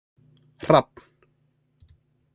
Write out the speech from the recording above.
Hrafn